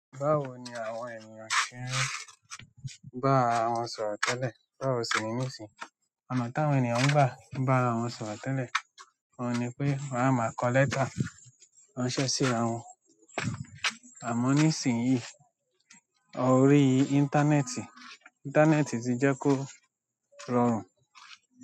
Báwo ni àwọn ènìyàn ṣe ń bá ara won sọ̀rọ̀ tẹ́lẹ̀, báwo si ní nisìn? Ọ̀nà táwọn ènìyàn ń gbá ba ra won sọ̀rọ̀ tẹ́lẹ̀, oun ni pé wọ́n a máa kọ lẹ́tà ránṣẹ́ sí ara won, àmọ́ ní ìsìn yìí o rí íńtánẹ́ẹ̀tì, íńtánẹ́ẹ̀tì ti jẹ́ kó rọrùn.